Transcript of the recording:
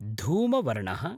धूमवर्णः